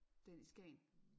Den i Skagen